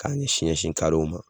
K'a ɲɛsin ɲɛsin ma.